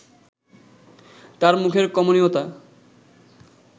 তার মুখের কমনীয়তা